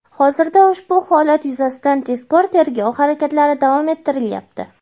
Hozirda ushbu holat yuzasidan tezkor-tergov harakatlari davom ettirilyapti.